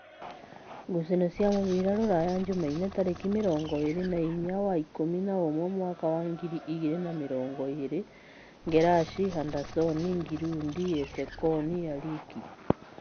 Ngucanio cia mũbira Ruraya Jumaine tarĩki mĩrongo ĩrĩ na-inya wa ikũmi na-ũmwe mwaka wa ngirĩ igĩrĩ na mĩrongo ĩrĩ: Ngerashi, Handasoni, Ngirundi, Esekon, Arĩki